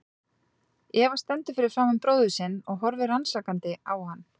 Eva stendur fyrir framan bróður sinn og horfir rannsakandi á hann.